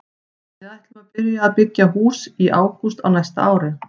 Við ætlum að byrja að byggja í hús í ágúst á næsta ári.